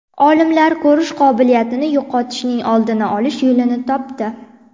Olimlar ko‘rish qobiliyatini yo‘qotishning oldini olish yo‘lini topdi.